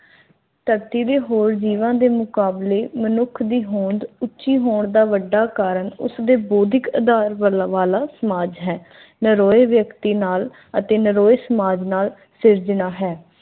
ਧਰਤੀ ਦੇ ਹੋਰ ਜੀਵਾਂ ਦੇ ਮੁਕਾਬਲੇ ਮਨੁੱਖ ਦੀ ਹੋਂਦ ਉੱਚੀ ਹੋਣ ਦਾ ਵੱਡਾ ਕਾਰਨ ਉਥੇ ਬੋਧੀ ਕਲਾ ਵਾਲਾ ਸਮਾਜ ਹੈ ਨਰੋਏ ਵਿਅਕਤੀ ਨਾਲ ਅਤੇ ਨਰੋਏ ਸਮਾਜ ਦੀ ਸਿਰਜਣਾ ਹੈ